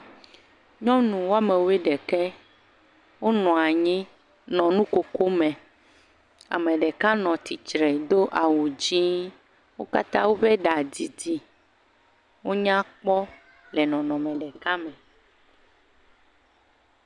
Nyɔnu woame wuiɖeke wonɔ anyi, nɔ nukokome. Ame ɖeka nɔ tsitsre do awu dzɛ̃ɛ̃. Wo katã woe ɖa didi, wonya kpɔ le nɔnɔme ɖeka me.